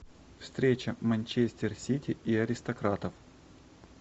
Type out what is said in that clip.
встреча манчестер сити и аристократов